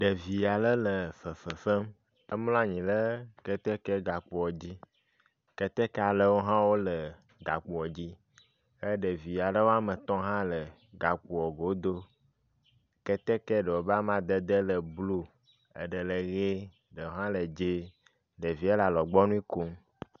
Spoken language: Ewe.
Ɖevi aɖe le fefe fem. Emlɔ anyi ɖe ketekegakpoa dzi. Keteke aɖewo hã wole gakpoa dzi ke ɖevi aɖewo hã wome etɔ̃ hã le gakpoa goɖo. Keteke ɖewo ƒe amadede le blu. Eɖe le ʋie, ɖe hã le dzɛ̃e, ɖevia le alɔgbɔnui kom.